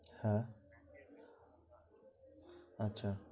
হ্যাঁ আচ্ছা